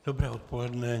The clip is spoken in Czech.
Dobré odpoledne.